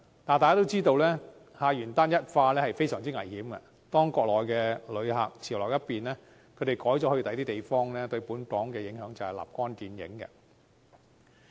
但大家都知道，客源單一化是非常危險的，當國內旅客潮流一變，他們改去其他地方，對本港的影響便立竿見影。